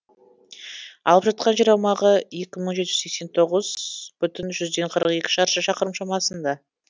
алып жатқан жер аумағы екі мың жеті жүз сексен тоғыз бүтін жүзден қырық екі шаршы шақырым шамасында